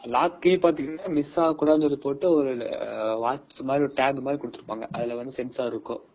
Lock கே வந்து miss ஆகிரக்கூடாதுன்றதுக்காக tag குடுத்துருப்பாங்க